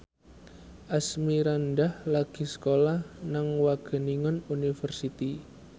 Asmirandah lagi sekolah nang Wageningen University